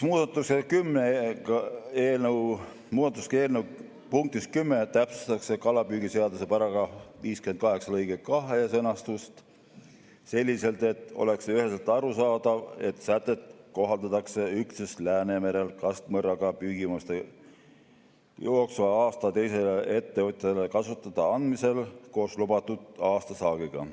Muudatusega eelnõu punktis 10 täpsustatakse kalapüügiseaduse § 58 lõike 2 sõnastust selliselt, et oleks üheselt arusaadav, et sätet kohaldatakse üksnes Läänemerel kastmõrraga püügil jooksva aasta teisele ettevõtjale kasutada andmisel koos lubatud aastasaagiga.